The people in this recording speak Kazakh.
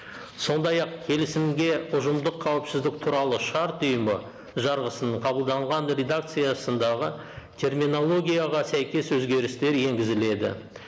сондай ақ келісімге ұжымдық қауіпсіздік туралы шарт ұйымы жарғысын қабылданған редакциясындағы терминологияға сәйкес өзгерістер енгізіледі